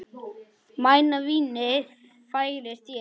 Mæna vínið færir þér.